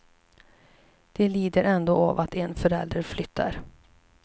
De lider ändå av att en förälder flyttar.